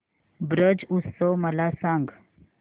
ब्रज उत्सव मला सांग